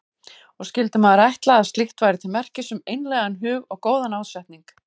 Og skyldi maður ætla að slíkt væri til merkis um einlægan hug og góðan ásetning.